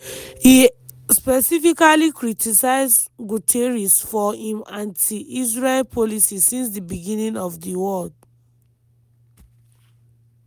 e specifically criticise guterres for "im anti-israel policy since di beginning of di war".